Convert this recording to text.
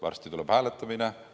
Varsti tuleb hääletamine.